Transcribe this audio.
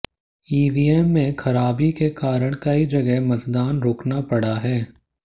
EVM में ख़राबी के कारण कई जगह मतदान रोकना पड़ा है